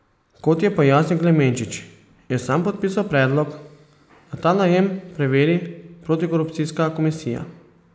Kot je pojasnil Klemenčič, je sam podpisal predlog, da ta najem preveri protikorupcijska komisija.